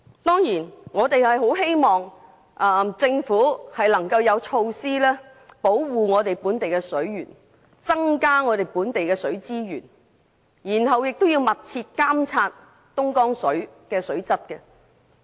我們當然希望政府能提出措施，保護本地水源，增加本地水資源，並密切監察東江水的水質。